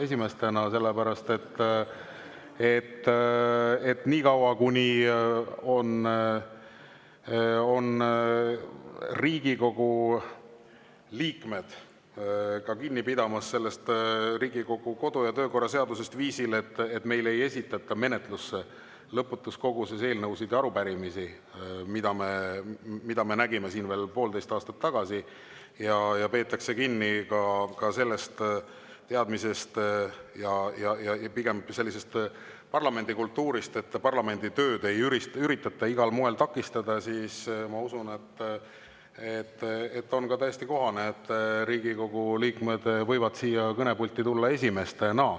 Seda sellepärast, et niikaua, kuni Riigikogu liikmed peavad kinni Riigikogu kodu- ja töökorra seadusest viisil, et meile ei esitata menetlusse lõputus koguses eelnõusid ja arupärimisi, mida me nägime siin veel poolteist aastat tagasi, ja peetakse kinni ka teadmisest ja sellisest parlamendikultuurist, et parlamendi tööd ei üritata igal moel takistada, ma usun, on täiesti kohane, et Riigikogu liikmed võivad siia kõnepulti tulla esimestena.